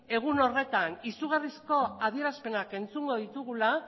egun horretan izugarrizko adierazpenak entzungo ditugula